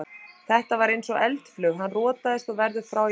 Þetta var eins og eldflaug, hann rotaðist og verður frá í viku.